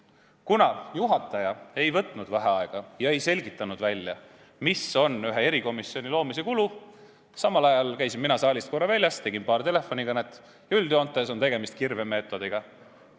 Kuna juhataja ei võtnud vaheaega ega selgitanud välja, mis on ühe erikomisjoni loomise kulu, käisin mina vahepeal korra saalist väljas, tegin paar telefonikõnet ja sain teada, et üldjoontes on tegemist kirvemeetodiga.